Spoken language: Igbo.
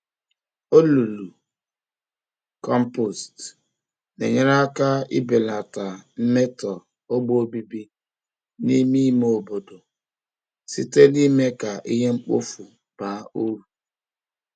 Olulu kompost na-enyere aka ibelata mmeto ogbe obibi n'ime ime obodo, site n'ime ka ihe mkpofu baa uru